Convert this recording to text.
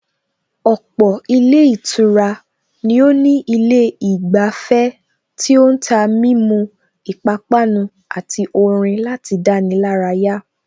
Ọ̀pọ̀ ilé ìtura ni ó ní ilé ìgbafẹ́ tí ó ń tà mímu, ipápánu àti orin láti dáni lárayà